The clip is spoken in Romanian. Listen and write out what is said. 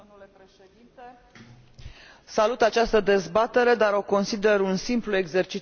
Salut această dezbatere, dar o consider un simplu exercițiu de indignare și de fariseism.